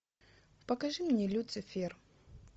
покажи мне люцифер